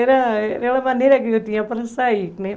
Era era a maneira que eu tinha para sair, né?